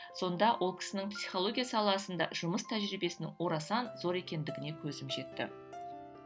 сонда ол кісінің психология саласында жұмыс тәжірибесінің орасан зор екендігіне көзім жетті